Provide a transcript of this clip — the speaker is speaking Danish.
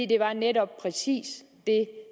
det var netop præcis det